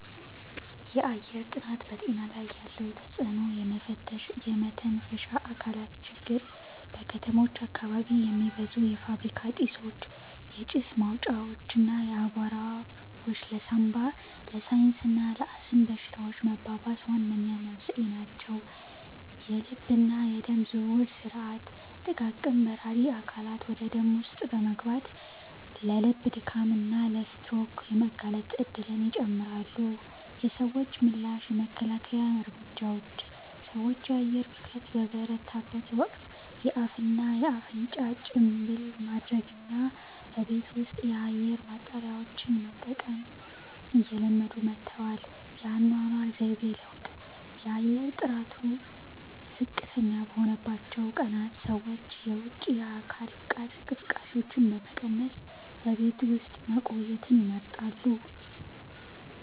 የአየር ጥራት በጤና ላይ ያለው ተጽዕኖ የመተንፈሻ አካላት ችግር:- በከተሞች አካባቢ የሚበዙ የፋብሪካ ጢሶች፣ የጭስ ማውጫዎች እና አቧራዎች ለሳንባ፣ ለሳይነስ እና ለአስም በሽታዎች መባባስ ዋነኛ መንስኤ ናቸው። የልብና የደም ዝውውር ሥርዓት፦ ጥቃቅን በራሪ አካላት ወደ ደም ውስጥ በመግባት ለልብ ድካም እና ለስትሮክ የመጋለጥ እድልን ይጨምራሉ። የሰዎች ምላሽ የመከላከያ እርምጃዎች፦ ሰዎች የአየር ብክለት በበረታበት ወቅት የአፍና አፍንጫ ጭንብል ማድረግንና በቤት ውስጥ የአየር ማጣሪያዎችን መጠቀምን እየለመዱ መጥተዋል። የአኗኗር ዘይቤ ለውጥ፦ የአየር ጥራቱ ዝቅተኛ በሆነባቸው ቀናት ሰዎች የውጪ የአካል ብቃት እንቅስቃሴዎችን በመቀነስ በቤት ውስጥ መቆየትን ይመርጣሉ።